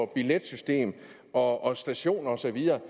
billetsystemer og stationer og så videre